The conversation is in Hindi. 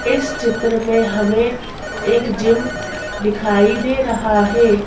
इस चित्र में हमें एक जिम दिखाई दे रहा है।